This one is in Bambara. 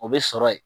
O bɛ sɔrɔ yen